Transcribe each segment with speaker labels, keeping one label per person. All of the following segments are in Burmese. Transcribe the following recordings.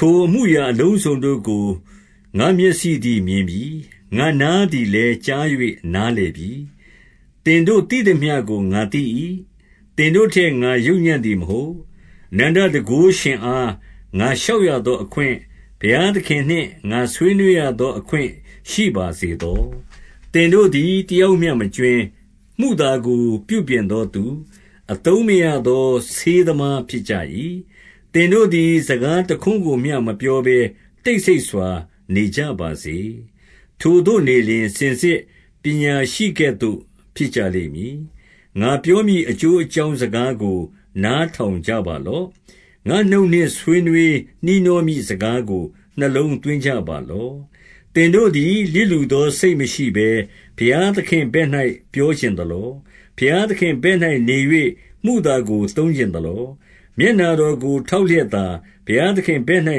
Speaker 1: ထိုအမှုအလုံးစုံတို့ကို ငါ့မျက်စိသည် မြင်ပြီ။ ငါ့နားသည်လည်း ကြား၍နားလည်ပြီ။ 2 သင်တို့သိသမျှကို ငါသိ၏။ သင်တို့ထက် ငါယုတ် ညံ့သည်မဟုတ်။ 3 အနန္တတန်ခိုးရှင်အား ငါလျှောက်ရသောအခွင့်၊ ဘုရားသခင်နှင့် ငါဆွေးနွေးရသောအခွင့်ရှိပါစေသော။ 4 သင်တို့သည် တယောက်မျှမကြွင်း၊ မုသာကို ပြုပြင်သောသူ၊ အသုံးမရသောဆေးသမား ဖြစ်ကြ၏။ 5 သင်တို့သည် စကားတခွန်းကိုမျှ မပြောဘဲတိတ်ဆိတ်စွာနေကြပါစေ။ ထိုသို့နေလျှင် စင်စစ်ပညာရှိကဲ့သို့ ဖြစ်ကြလိမ့်မည်။ 6 ငါပြောမည်အကျိုးအကြောင်းစကားကို နားထောင်ကြပါလော့။ ငါ့နှုတ်နှင့် ဆွေးနွှေးနှီးနှောမည့် စကားကို နှလုံးသွင်းကြပါလော့။ 7 သင်တို့သည် လျစ်လျူသောစိတ်မရှိဘဲ ဘုရားသခင့်ဘက်၌ ပြောချင်သလော။ ဘုရားသခင့်ဘက်၌နေ၍ မုသာကိုသုံးချင်သလော။ 8 မျက်နှာတော်ကိုထောက်လျက်သာ၊ ဘုရားသခင့်တဘက်၌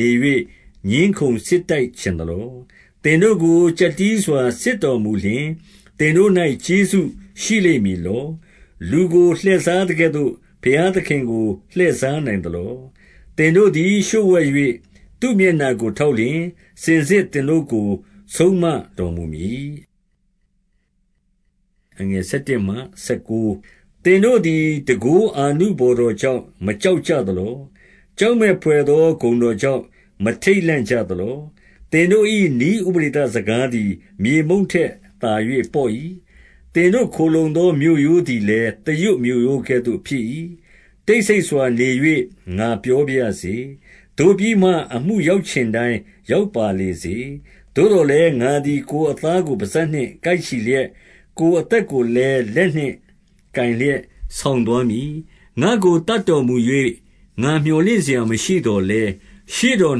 Speaker 1: နေ၍ ငြင်းခုံစစ်တိုက်ချင်သလော။ 9 သင်တို့ကိုကျပ်တည်းစွာ စစ်တော်မူလျှင်၊ သင်တို့၌ ကျေးဇူးရှိလိမ့်မည်လော။ လူကိုလှည့်စားသကဲ့သို့ ဘုရားသခင်ကို လှည့်စားနိုင်သလော။ 10 သင်တို့သည် လျှို့ဝှက်၍ သူ့မျက်နှာကို ထောက်လျှင်၊ စင်စစ်သင်တို့ကို ဆုံးမတော်မူမည်။ 11 သင်တို့သည် တန်ခိုးအာနုဘော်တော်ကြောင့် မကြောက်ကြသလော။ ကြောက်မက်ဘွယ်သော ဂုဏ် တော်ကြောင့် မထိတ်လန့်ကြသလော။ 12 သင်တို့၏နည်းဥပဒေသစကားသည် မြေမှုန့် ထက်သာ၍ပေါ့၏။ သင်တို့ ခိုလှုံသောမြို့ရိုးသည်လည်း သရွတ်မြို့ရိုးကဲ့သို့ ဖြစ်၏။ 13 တိတ်ဆိတ်စွာနေ၍ ငါပြောပါရစေ။ သို့ပြီးမှ အမှုရောက်ချင်တိုင်း ရောက်ပါလေစေ။ 14 သို့သော်လည်း ငါသည် ကိုယ်အသားကို ပစပ် နှင့်ကိုက်ချီလျက်၊ ကိုယ်အသက်ကိုလည်း လက်နှင့်ကိုက် လျက် ဆောင်သွားမည်။ 15 ငါ့ကိုသတ်တော်မူ၍၊ ငါမြော်လင့်စရာမရှိသော်လည်း၊ ရှေ့တော်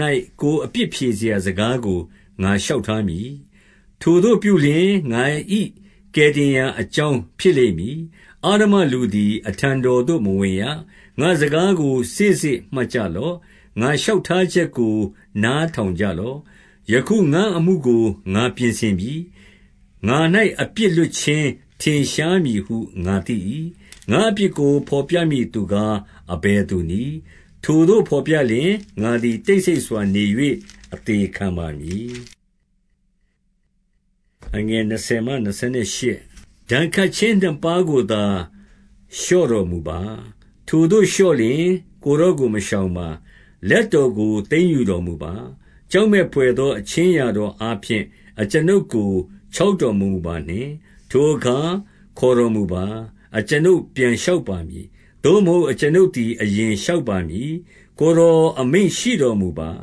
Speaker 1: ၌ ကိုယ်အပြစ်ဖြေရာစကားကို ငါလျှောက်ထားမည်။ 16 ထိုသို့ပြုလျှင် ငါ၏ကယ်တင်ရာအကြောင်း ဖြစ်လိမ့်မည်။ အဓမ္မလူသည် အထံတော်သို့မဝင်ရ။ 17 ငါ့စကားကို စေ့စေ့မှတ်ကြလော့။ ငါ့လျှောက် ထားချက်ကို နားထောင်ကြလော့။ 18 ယခုငါ့အမှုကို ငါပြင်ဆင်ပြီ။ ငါ၌အပြစ်လွတ်ခြင်း ထင်ရှားမည်ဟု ငါသိ၏။ 19 ငါ့အပြစ်ကို ဘော်ပြမည့်သူကား၊ အဘယ်သူနည်း။ ထိုသို့ဘော်ပြလျှင် ငါသည် တိတ်ဆိတ်စွာနေ၍ အသေခံပါမည်။ 20 ဒဏ်ခတ်ခြင်းနှစ်ပါးကိုသာ လျှော့တော်မူပါ။ ထိုသို့လျှော့လျှင် ကိုယ်တော်ကို မရှောင်ပါ။ 21 လက်တော်ကိုသိမ်းတော်မူပါ။ ကြောက်မက်ဘွယ်သော အခြင်းအရာတော်အားဖြင့် အကျွန်ုပ်ကို ချောက် တော်မမူပါနှင့်။ 22 ထိုအခါခေါ်တော်မူပါ။ အကျွန်ုပ်ပြန်လျှောက်ပါမည်။ သို့မဟုတ် အကျွန်ုပ်သည် အရင်လျှောက်ပါမည်။ ကိုယ်တော်အမိန့်ရှိတော်မူပါ။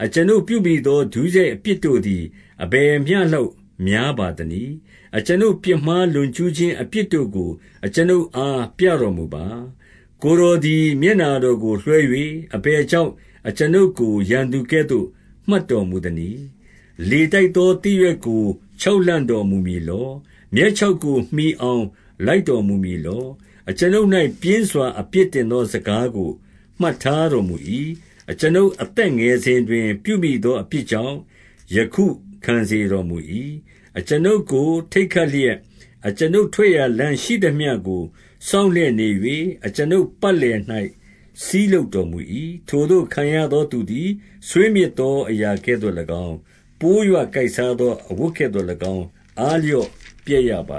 Speaker 1: 23 အကျွန်ုပ်ပြုမိသော ဒုစရိုက်အပြစ်တို့သည် အဘယ်မျှလောက်များပါသနည်း။ အကျွန်ုပ်ပြစ်မှား ကျူးလွန်ခြင်းအပြစ်တို့ကို အကျွန်ုပ်အား ပြတော်မူပါ။ 24 ကိုယ်တော်သည် မျက်နှာတော်ကိုလွှဲ၍ အဘယ်ကြောင့် အကျွန်ုပ်ကို ရန်သူကဲ့သို့ မှတ်တော်မူသနည်း။ 25 လေတိုက်သော သစ်ရွက်ကို ချောက်လှန့်တော်မူ မည်လော။ မြက်ခြောက်ကို မှီအောင်လိုက်တော်မူမည် လော။ 26 အကျွန်ုပ်၌ ပြင်းစွာသောအပြစ်တင်သော စကားကိုမှတ်ထားတော်မူ၏။ အကျွန်ုပ်အသက်ငယ်စဉ် တွင် ပြုမိသောအပြစ်ကြောင့် ယခုခံစေတော်မူ၏။ 27 အကျွန်ုပ်ကိုထိတ်ခတ်လျက်၊ အကျွန်ုပ်ထွက်ရာ လမ်းရှိသမျှကို စောင့်လျက်နေ၍၊ အကျွန်ုပ်ပတ်လည်၌ စည်းလုပ်တော်မူ၏။ 28 ထိုသို့ခံရသောသူသည် ဆွေးမြေ့သောအရာကဲ့သို့၎င်း၊ ပိုးရွကိုက်စားသောအဝတ်ကဲ့သို့၎င်း အားလျော့ ပျက်ရပါ